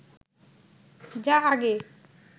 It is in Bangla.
যা আগে